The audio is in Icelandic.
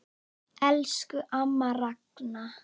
Elsku amma Ragna.